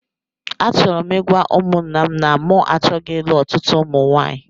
Achọrọ m ịgwa ụmụńnà m na mụ achọghị ịlụ ọtụtụ ụmụ nwaanyị